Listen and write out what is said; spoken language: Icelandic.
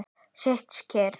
Sit kyrr.